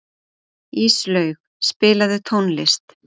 Íslaug, spilaðu tónlist.